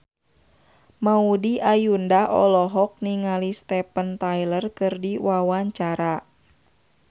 Maudy Ayunda olohok ningali Steven Tyler keur diwawancara